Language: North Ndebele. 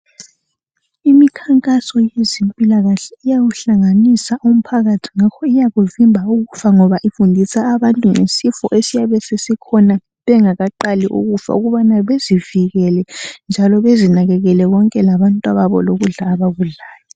Imkhankaso yezempilakahle uyawuhlanganisa umphakathi ngakho iyakuvimba ukufa ngoba ifundisa abantu ngesifo esiyabe sesikhona bengakaqali ukufa ukubana bezivikele njalo bezinakekele bonke labantwababo lokudla abakudlayo